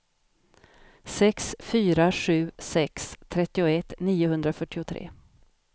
sex fyra sju sex trettioett niohundrafyrtiotre